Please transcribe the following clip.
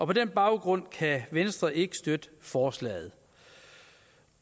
på den baggrund kan venstre ikke støtte forslaget